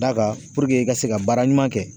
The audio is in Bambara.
D'a ka puruke i ka se ka baara ɲuman kɛ